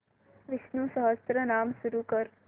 विष्णु सहस्त्रनाम सुरू कर